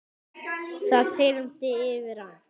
Það þyrmdi yfir hann.